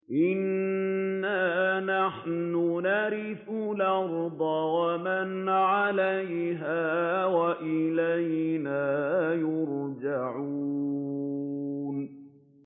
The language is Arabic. إِنَّا نَحْنُ نَرِثُ الْأَرْضَ وَمَنْ عَلَيْهَا وَإِلَيْنَا يُرْجَعُونَ